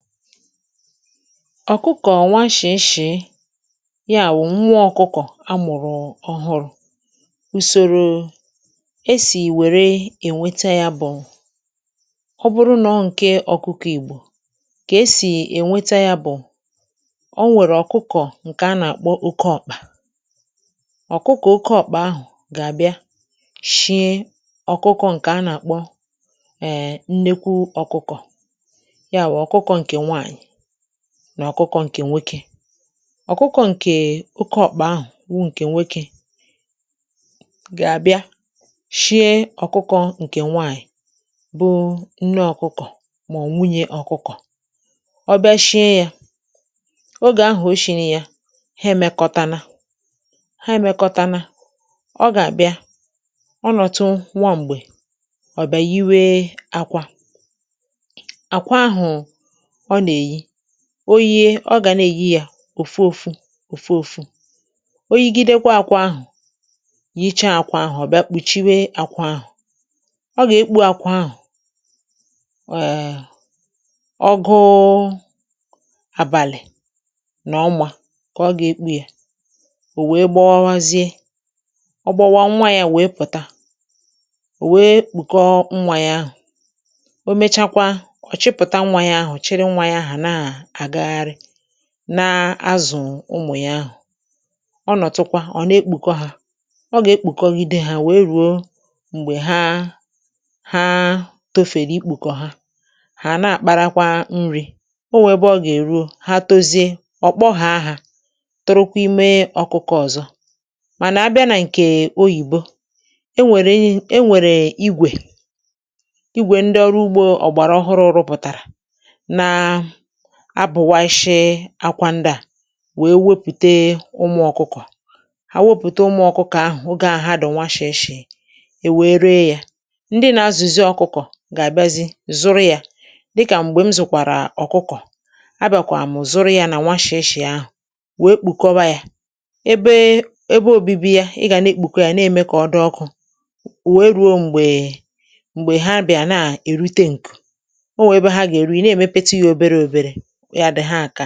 ọ̀kụkọ̀ nwa shì shì, yà bụ̀ nwa ọ̀kụkọ̀ amụ̀rụ̀ ọ̀hụrụ̇.Ụ̀sọ̀rò èsì wère ènweta yà bụ̀ ọ̀ bụrụ nà ọ̀ bụ̀ nke ọ̀kụkọ̀ Ìgbò kà èsì ènweta yà bụ̀ nà ọ nwèrè ọ̀kụkọ̀ ǹkè a nà-àkpọ òké ọ̀kpà. Ọ̀ké ọ̀kpà ahụ̀ gà-àbịa shie ọ̀kụkọ̀ ǹkè a nà-àkpọ èè nnekwu ọ̀kụkọ̀ nà ọ̀kụkọ̀ ǹkè nwoke. Ọ̀kụkọ̇ ǹkè òké ọ̀kpà ahụ̀ wụ̀ ǹkè nwoke gà-àbịa shie ọ̀kụkọ̇ ǹkè nwaànyị̀, bụ̀ nne ọ̀kụkọ̀. Màọ̀, um wùnye ọ̀kụkọ̀ ọ̀ bịa shie yà, ogè ahụ̀ o shìnē ya ha èmekọtana. Ha èmekọtana, ọ gà-àbịa ọnọ̀tụ nwa. M̀gbè ọ̀ bàà n’ìwé àkwà oyi̇, yē, ọ gà na-èyi yà òfù òfù òfù oyi. Gị dịkwa àkwọ ahụ̀, yichàà àkwọ ahụ̀, ọ̀ bịa kpùchiwè àkwọ ahụ̀, ọ gà-èkpù àkwọ ahụ̀, ọ̀ gụọ́gụ́ àbàlị̀ nà ọ̀mà kà ọ gà-èkpù yà.Ó wèe gbawazie, ọ̀ gbàwà nwa yà, wèe pụ̀tà. Ò wèe kpụ̀kọ nwa yà ahụ̀, o méchàkwa, ọ̀ chịpụ̀tà nwa yà ahụ̀, nà-azụ̀ ụmụ̀ yà ahụ̀.Ọ̀ nọtụkwa, ọ̀ na-ekpùkọ hȧ; ọ gà-ekpùkọ ìdeì hȧ, nwèe rùo m̀gbè ha hà tòfèrè ikpùkọ ha, hà àna-àkpàrakwa nri̇.Ọ nwèrè ebe ọ gà-èró ha, tozie um, ọ̀ kpọhọ̇ àhà, torokwa ime ọ̀kụkọ̇ ọ̀zọ. Mànà um àbịa nà nke oyìbo, e nwèrè igwè ịgwè ndị ọrụ ugbȯ ọ̀gbàrà ọhụrụ̇ rụpụ̀tàrà abụ̀ waishie àkwà. Ndị à wéé wepùté ụmụ̀ ọ̀kụkọ̀ ha, wopùté ụmụ̀ ọ̀kụkọ̀ ahụ̀, ogè ahụ̀ ha dọ̀ nwashì eshì, è wèrè yà. Ndị nà-azụ̀zị ọ̀kụkọ̀ gà-àbịazị zụrụ yà, dịkà m̀gbè m zụ̀kwàrà ọ̀kụkọ̀, à bàkwàmụ̀ zụrụ yà nà nwashì eshì ahụ̀, wéé kpùkọwa yà ebe obìbì yà.Ị gà na-èkpùkọ yà nà-èmè kà ọ dị ọkụ̇, wèe ruo m̀gbè um ha bịà nà èrute ǹkù̄, o wèe wèe, ha gà-èri ǹkè yà nà lì.